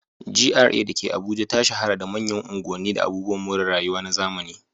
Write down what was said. GRA da ke Abuja ta shahara da manyan unguwanni da abubuwan more rayuwa na zamani.